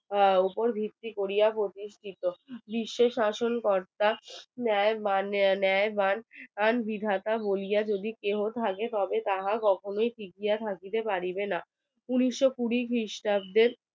আহ ওপর ভিত্তি করিয়া প্রতিষ্টিত বিশ্বের শাসনকর্তা ন্যায়ের ম্যান বিধাতা বলিয়া যদি কেহ থাকে তবে তাহা কখনোই টিকিয়া থাকিতে পারিবে না উনিশশো কুড়ি খ্রিস্টাব্দের